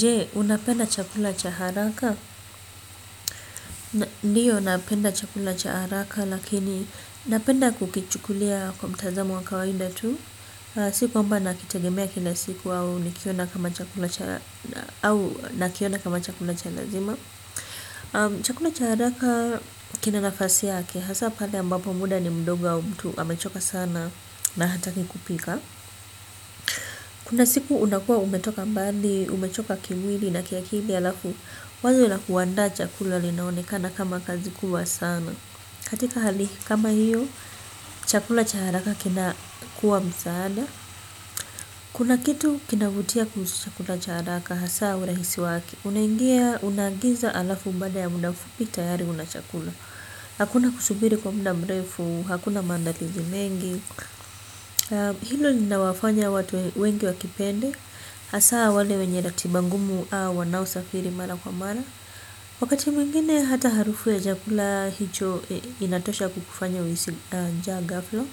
Je unapenda chakula cha haraka. Ndiyo napenda chakula cha haraka lakini napenda kukichukulia kwa mtazamo wa kawaida tu. Si kwamba nakitegemea kila siku au nakiona kama chakula cha lazima. Chakula cha haraka kina nafasi yake hasa pale ambapo muda ni mdogo au mtu amechoka sana na hataki kupika. Kuna siku unakuwa umetoka mbali, umechoka kimwili na kiakili alafu wazo la kuandaa chakula linaonekana kama kazi kubwa sana. Katika hali kama hiyo chakula cha haraka kina kuwa msaada. Kuna kitu kinavutia kuhusu chakula cha haraka hasa urahisi wake. Unaingia unaagiza alafu baada ya muda mfupi tayari una chakula. Hakuna kusubiri kwa muda mrefu, hakuna maandalizi mengi hilo linawafanya watu wengi wakipende hasa wale wenye ratiba ngumu au wanaosafiri mara kwa mara. Wakati mwingine hata harufu ya chakula hicho inatosha kukufanya uhisi njaa ghafla.